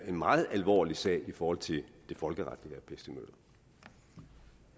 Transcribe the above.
en meget alvorlig sag i forhold til det folkeretlige vil